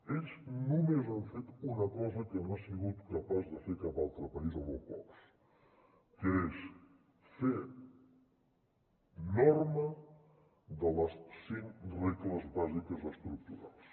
ells només han fet una cosa que no ha sigut capaç de fer cap altre país o molt pocs que és fer norma de les cinc regles bàsiques estructurals